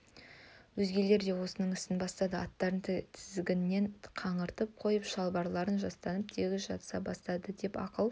өзгелері де осының ісін бастады аттарын тізгігінен қаңтарып қойып шылбырларын жастанып тегіс жата бастады деп ақыл